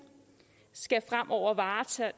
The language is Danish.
skal fremover varetage